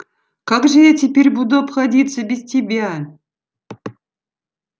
как же я теперь буду обходиться без тебя